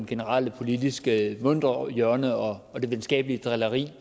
generelle politiske muntre hjørne og og det venskabelige drilleri